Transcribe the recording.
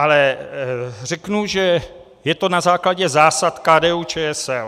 Ale řeknu, že je to na základě zásad KDU-ČSL.